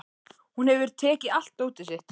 Hún hefur tekið allt dótið sitt.